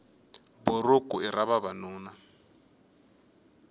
buruku i ra vavanuna